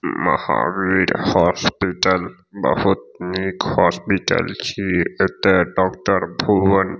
Mahavir hospital बहुत निक hospital छिये एता डॉक्टर भुवन --